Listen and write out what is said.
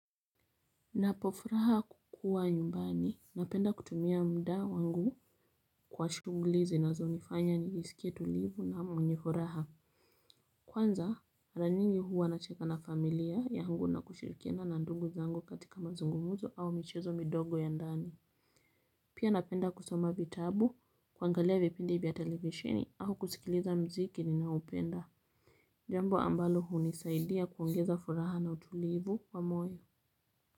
Napofuraha kukua nyumbani, napenda kutumia muda wangu kwa shughuli zinazonifanya nijisikie tulivu na mwenye furaha. Kwanza, mara nyingi hua nanacheka na familia yangu na kushirikiana na ndungu zangu katika mazungumuzo au michezo midogo ya ndani. Pia napenda kusoma vitabu, kuangalia vipindi vya televisheni au kusikiliza muziki ninaoupenda. Jambo ambalo hunisaidia kuongeza furaha na utulivu wa moyo.